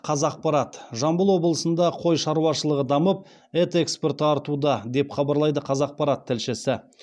қазақпарат жамбыл облысында қой шаруашылығы дамып ет экспорты артуда деп хабарлайды қазақпарат тілшісі